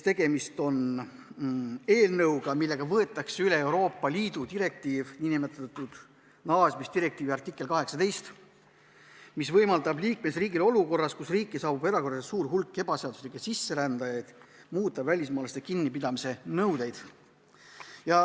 Tegemist on eelnõuga, millega võetakse üle Euroopa Liidu nn naasmisdirektiivi artikkel 18, mis võimaldab liikmesriigil olukorras, kus riiki saabub erakorraliselt suur hulk ebaseaduslikke sisserändajaid, muuta välismaalaste kinnipidamise nõudeid.